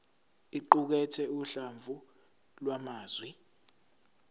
iqukathe uhlamvu lwamazwi